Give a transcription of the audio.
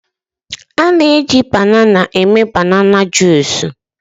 a na-eji babanan junice